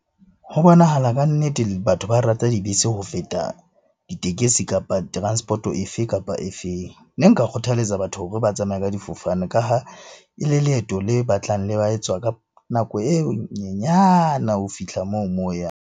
Ho bonahala kannete batho ba rata dibese ho feta ditekesi, kapa transport-oo efe kapa efeng. Ne nka kgothaletsa batho hore ba tsamaye ka difofane ka ha e le leeto le batlang le ka nako e nyenyana ho fihla moo, moo o yang.